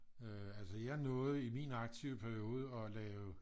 Øh altså jeg nåede i min aktive periode at lave